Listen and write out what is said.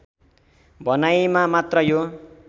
भनाईमा मात्र यो